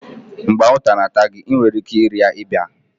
Mgbe anwụnta na-ata gị, ị nwere ike ịrịa ịba